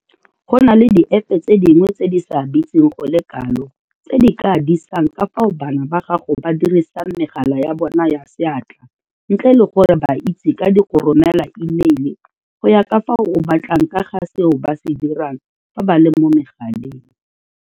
Go na le diepe tse dingwe tse di sa bitseng go le kalo tse di ka disang ka fao bana ba gago ba dirisang megala ya bona ya seatla ntle le gore ba itse ka di go romela imeile go ya ka fao o batlang ka ga seo ba se dirang fa ba le mo megaleng.